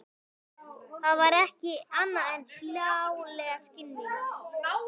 Það væri ekki annað en hláleg skynvilla.